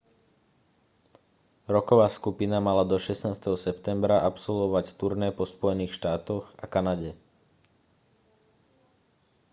rocková skupina mala do 16. septembra absolvovať turné po spojených štátoch a kanade